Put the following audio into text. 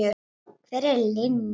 Hver er Linja?